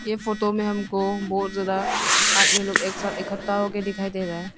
ये फोटो में हमको बहुत ज्यादा अन्य लोग एक साथ इकट्ठा हो के दिखाई दे रहा है।